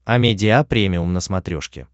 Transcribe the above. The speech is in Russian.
амедиа премиум на смотрешке